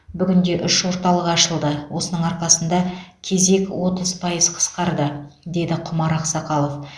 бүгінде үш орталық ашылды осының арқасында кезек отыз пайыз қысқарды деді құмар ақсақалов